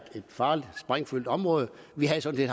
farligt sprængfyldt område vi havde sådan